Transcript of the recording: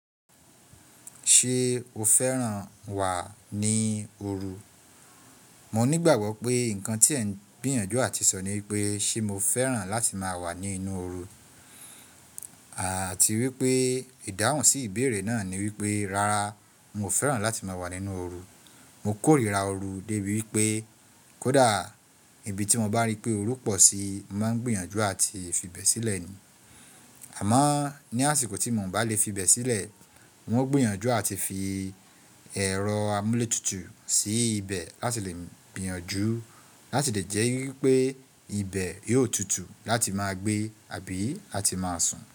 Ṣé o fẹ́ràn wà ní ooru? Mo nígbàgbọ́ pé nǹkan tí ẹ ń gbìyànjú àti sọ ní wípé ṣe mo fẹ́ràn láti máa wà ní inú ooru. Àti wípé ìdáhùn sí ìbéèrè náà ni wípé, rárá mi ò fẹ́ràn láti máa wà nínú ooru. Mo kórìíra ooru débi wípé kó dà ibi tí mo bá rí pé ooru pọ̀ sí, mo ń gbìyànjú àti fi ibẹ̀ sílẹ̀ ni. Àmọ́ ní àsìkò tí mo ń bá lè fi ibẹ̀ sílẹ̀, wọn gbìyànjú àti fi ẹ̀rọ amuletutu sí ibẹ̀ láti lè gbìyànjú láti lè jẹ́ wípé ibẹ̀ yóò tutù láti máa gbé àbí láti máa sùn.